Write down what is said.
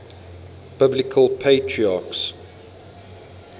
biblical patriarchs